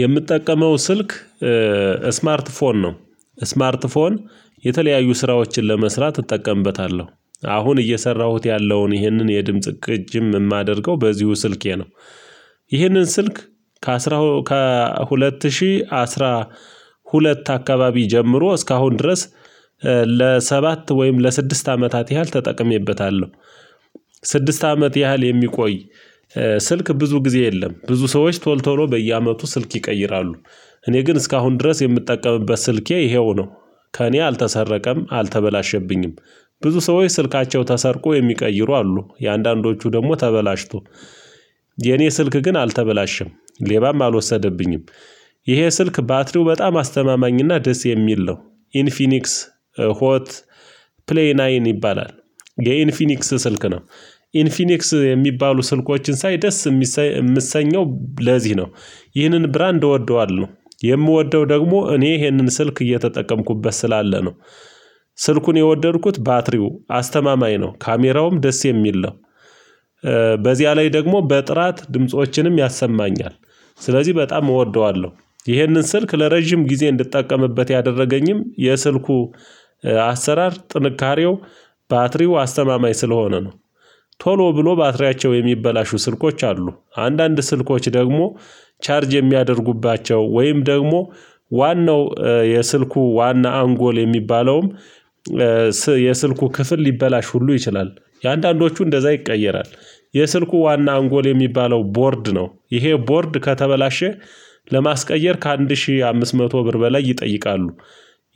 የምትጠቀመው ስልክ ስማርት ፎን ነው። ስማርት ፎን የተለያዩ ስራዎችን ለመስራት እጠቀምበታለሁ አሁን እየሰራሁት ያለውን ይህንን የድምጽ ቅጅም የማደርገው በዚሁ ስልኬ ነው። ይህንን ስልክ ከአስራ ከሁለት ሺህ አስራ ሁለት አካባቢ ጀምሮ እስካሁን ድረስ ለሰባት ወይም ለስድስት አመታት ያህል ተጠቅሜበታለሁ። ስድስት አመት ያህል የሚቆይ ስልክ ብዙ ጊዜ የለም ብዙ ሰዎች ቶል ቶሎ በየአመቱ ስልክ ይቀይራሉ እኔ ግን እስካሁን ድረስ የምጠቀምበት ስልኬ ይሄው ነው ከእኔ አልተሰረቀም አልተበላሸብኝም ብዙ ሰዎች ስልካቸው ተሰርቆ የሚቀይሩ አሉ የአንዳንዶቹ ደግሞ ተበላሽቶ የኔ ስልክ ግን አልተበላሸም፣ ሌባም አልወሰደብኝም። ይሄ ስልክ ባትሪው በጣም አስተማማኝና ደስ የሚል ነው ኢንፊኒክስ ሆት ፕሌይ ናይን ይባላል የኢንፊኒክስ ስልክ ነው ኢንፊኒክስ የሚባሉ ስልኮችን ሳይ ደስ የምሰኘው ለዚህ ነው ይህንን ብራንድ እወደዋለሁ የምወደው ደግሞ እኔ ይህንን ስልክ እየተጠቀምኩበት ስላለ ነው ስልኩን የወደድኩት ባትሪው አስተማማኝ ነው ካሜራውም ደስ የሚል ነው በዚያ ላይ ደግሞ በጥራት ድምጾችንም ያሰማኛል ስለዚህ በጣም እወደዋለሁ ይሄንን ስልክ ለረጅም ጊዜ እንድትጠቀምበት ያደረገኝም የስልኩ አሰራር ጥንካሬው ባትሪው አስተማማኝ ስለሆነ ነው ቶሎ ብሎ ባትሪያቸው የሚበላሹ ስልኮች አሉ። አንዳንድ ስልኮች ደግሞ ቻርጅ የሚያደርጉባቸው ወይም ደግሞ ዋናው የስልኩ ዋና አንጎል የሚባለውም የስልኩ ክፍል ልበላሽ ሁሉ ይችላል። የአንዳንዶቹ እንደዛ ይቀየራል የስልኩ ዋና አንጎል የሚባለው ቦርድ ነው ይሄ ቦርድ ከተበላሸ ለማስቀየር ከአንድ ሺህ አምስት መቶ ብር በላይ ይጠይቃሉ።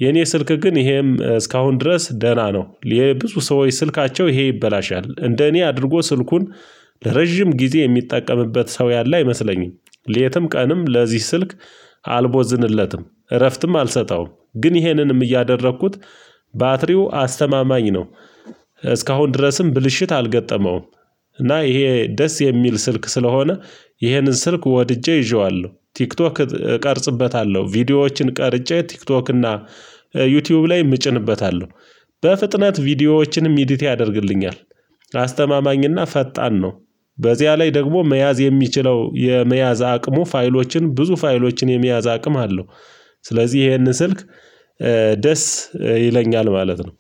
የኔ ስልክ ግን ይሄም እስካሁን ድረስ ደህና ነው ይሄ ብዙ ሰዎች ስልካቸው ይሄ ይበላሻል እንደ እኔ አድርጎ ስልኩን ለረጅም ጊዜ የሚጠቀምበት ሰው ያለ አይመስለኝም ለትም ቀንም ለዚህ ስልክ አልቦዝንለትም እረፍትም አልሰጠውም ግን ይሄንንም እያደረኩት ባትሪው አስተማማኝ ነው እስካሁን ድረስም ብልሽት አልገጠመውም። እና ይሄ ደስ የሚል ስልክ ስለሆነ ይሄንን ስልክ ወድጄ ይዤዋለሁ ቲክቶክ እቀርጽበታለሁ ቪዲዮዎችን ቀርጬ ቲክቶክ እና ዩቲዩብ ላይ ምጭንበታለሁ በፍጥነት ቪዲዮዎችንም ኢዲት ያደርግልኛል። አስተማማኝና ፈጣን ነው በዚያ ላይ ደግሞ መያዝ የሚችለው የመያዝ አቅሙ ፋይሎችን ብዙ ፋይሎችን የሚያዝ አቅም አለው። ስለዚህ ይሄንን ስልክ ደስ ይለኛል ማለት ነው